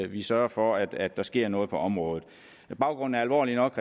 vi sørger for at der sker noget på området baggrunden er alvorlig nok